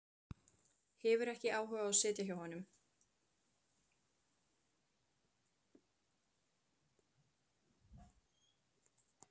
Hefur ekki áhuga á að sitja hjá honum.